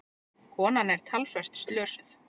Konan er talsvert slösuð.